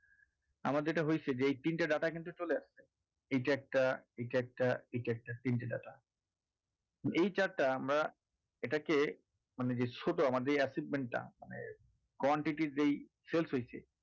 আমার যেটা হয়েছে যে এই তিনটে data কিন্তু চলে এসেছে এইটা একটা এইটা একটা এইটা একটা তিনটে data এই chart এ আমরা এটাকে মানে যে ছোট আমাদের assessment টা মানে quantity র যেই sales হয়েছে